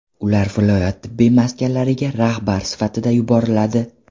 Ular viloyat tibbiyot maskanlariga rahbar sifatida yuboriladi.